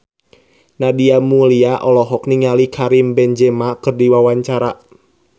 Nadia Mulya olohok ningali Karim Benzema keur diwawancara